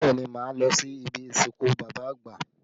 Bẹẹ ni, máa lọ sí ibi ìsìnkú bàbá àgbà